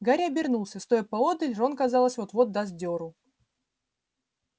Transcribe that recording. гарри обернулся стоя поодаль рон казалось вот-вот даст деру